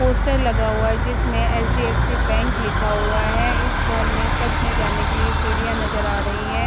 Poster लगा हुआ है जिसमें एच.डी.एफ.सी. बैंक लिखा हुआ है इस घर में छत में जाने के लिए सीढ़ियां नजर आ रही हैं।